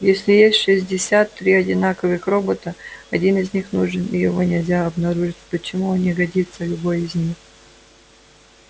если есть шестьдесят три одинаковых робота один из них нужен и его нельзя обнаружить почему не годится любой из них